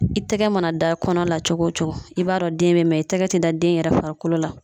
I tɛgɛ mana da kɔnɔ la cogo o cogo, i b'a dɔn den bɛ ye, mɛ i tɛgɛ tɛ da den yɛrɛ farikolo la.